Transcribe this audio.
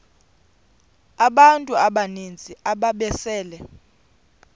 abantu abaninzi ababesele